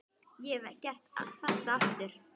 Ég hefði gert þetta aftur.